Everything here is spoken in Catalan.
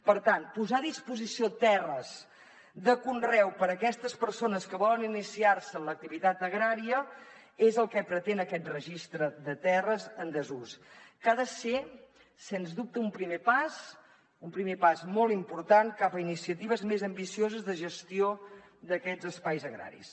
per tant posar a disposició terres de conreu per a aquestes persones que volen iniciar se en l’activitat agrària és el que pretén aquest registre de terres en desús que ha de ser sens dubte un primer pas un primer pas molt important cap a iniciatives més ambicioses de gestió d’aquests espais agraris